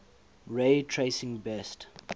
ray tracing best